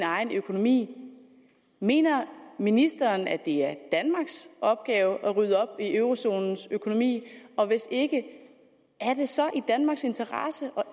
egen økonomi mener ministeren at det er danmarks opgave at rydde op i eurozonelandenes økonomi og hvis ikke er det så i danmarks interesse at